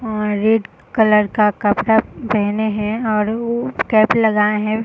अं red colour का कपड़ा पेहने हैं और ऊ कैप लगाए हैं।